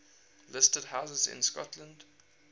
listed houses in scotland